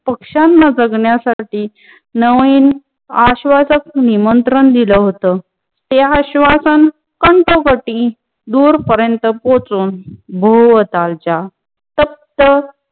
पक्षान्या बघण्यासाटी नवीन आश्वासक निमंत्रण दिल होता. ते आश्वासन पंचवटी दूरपर्यंत पोचून बहुवतांचा तप्त